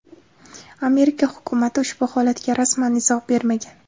Amerika hukumati ushbu holatga rasman izoh bermagan.